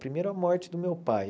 Primeiro a morte do meu pai.